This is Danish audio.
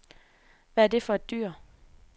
Hvad er det for et dyr?